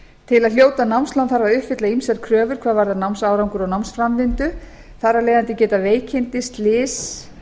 til að hljóta námslán þarf að uppfylla ýmsar kröfur hvað varðar námsárangur og námsframvindu þar af leiðandi geta veikindi slys